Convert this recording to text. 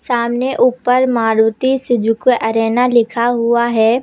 सामने ऊपर Maruti Suzuki Arena लिखा हुआ है।